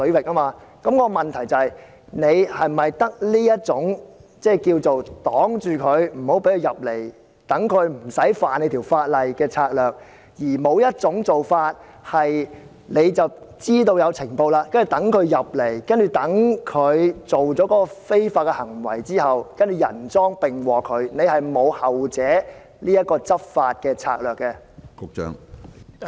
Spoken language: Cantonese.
我的補充質詢是，當局是否只有這種拒絕入境，讓他們無法觸犯法例的策略，而不會在接獲情報後，讓他們入境和作出非法行為後人贓並獲，是否沒有後者的執法策略？